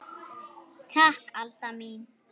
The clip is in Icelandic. Takk Alda mín.